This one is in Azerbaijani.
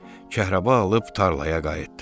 Kəhrəba alıb tarlaya qayıtdı.